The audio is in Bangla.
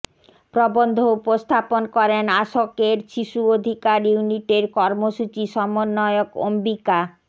প্রবন্ধ উপস্থাপন করেন আসকের শিশু অধিকার ইউনিটের কর্মসূচি সমন্বয়ক অম্বিকা